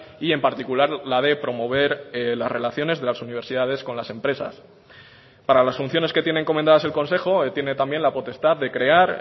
y en particular la de promover las relaciones de las universidades con las empresas para las funciones que tiene encomendadas el consejo tiene también la potestad de crear